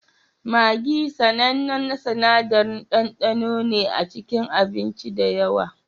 Maggi, sanannen sinadarin ɗandano ne a cikin abinci da yawa